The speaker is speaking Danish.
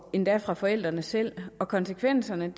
endda fra forældrene selv og konsekvenserne